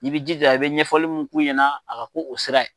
I b'i jija , i bɛ ɲɛfɔli minnu f'u ɲɛna a ka k'o sira ye.